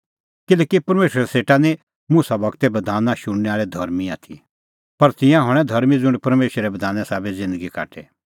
किल्हैकि परमेशरा सेटा निं मुसा गूरे बधान शुणनै आल़ै धर्मीं आथी पर तिंयां हणैं धर्मीं ज़ुंण परमेशरे बधाने साबै ज़िन्दगी काटे